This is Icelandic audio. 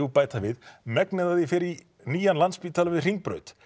bæta við megnið af því fer í nýjan Landspítala við Hringbraut